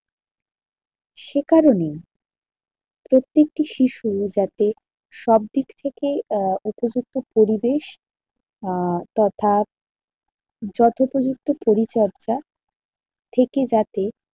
সে কারণেই প্রত্যেকটি শিশু যাতে সবদিক থেকেই আহ উপযুক্ত পরিবেশ আহ তথা যথোপযুক্ত পরিচর্যা থেকে যাতে